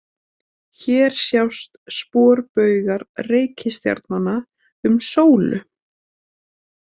Hér sjást sporbaugar reikistjarnanna um sólu.